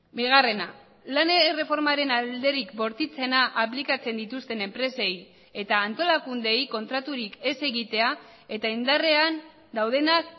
bigarrena lan erreformaren alderik bortitzena aplikatzen dituzten enpresei eta antolakundei kontraturik ez egitea eta indarrean daudenak